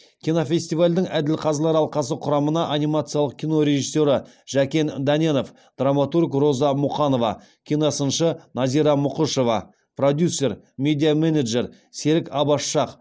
кинофестивальдің әділқазылар алқасы құрамына анимациялық кино режиссері жәкен дәненов драматург роза мұқанова киносыншы назира мұқышева продюсер медиа менеджер серік аббас шах